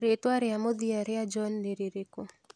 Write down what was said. Rĩĩtwa rĩa mũthia rĩa John nĩ rĩrĩkũ